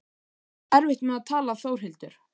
Þú átt erfitt með að tala Þórhildur.